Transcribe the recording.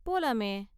போலாமே.